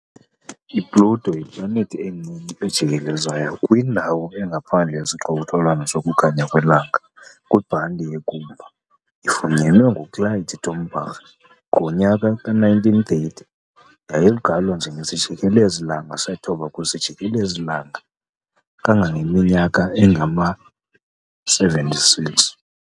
IPluto yiplanethi encinci ejikelezayo kwindawo engaphandle yesixokelelwano sokukhanya kwelanga, kwibhanti yeKuiper. Ifunyanwe nguClyde Tombaugh ngowe-1930, yayigqalwa njengesijikelezi -langa sethoba kwisijikelezi-langa selanga kangangeminyaka engama-76.